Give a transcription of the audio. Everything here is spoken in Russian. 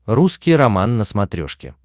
русский роман на смотрешке